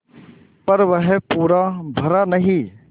पर वह पूरा भरा नहीं